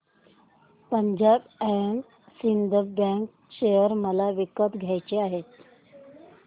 Punjab and Sind bank share मला विकत घ्यायचे आहेत